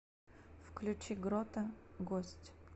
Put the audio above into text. включи грота гость